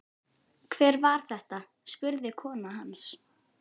Hver var þetta? spurði kona hans.